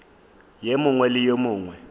ye nngwe le ye nngwe